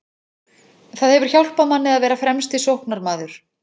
Það hefur hjálpað manni að vera fremsti sóknarmaður.